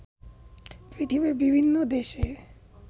পৃথিবীর বিভিন্ন দেশে